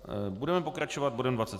Budeme pokračovat bodem